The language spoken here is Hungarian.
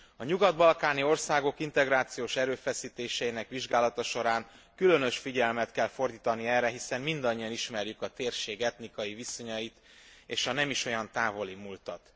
A nyugat balkáni országok integrációs erőfeszítéseinek vizsgálata során különös figyelmet kell fordítani erre, hiszen mindannyian ismerjük a térség etnikai viszonyait és a nem is olyan távoli múltat.